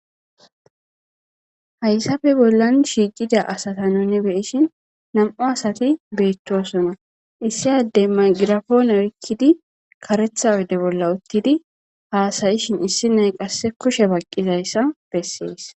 hayssafe bollan shiiqida asata nuni beyishin nam7u asati beettosona issi addey magirafoone oykkidi karetha odde bolla uttidi haasayishin issi nay qasse kushe baqqizayssa bessees